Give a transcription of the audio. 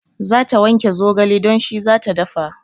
Za ta wanke zogale don shi zata dafa